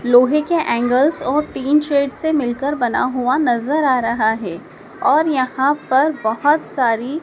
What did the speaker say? लोहे के एंगल्स और टीन शेड से मिलकर बना हुआ नजर आ रहा है और यहां पर बहुत सारी--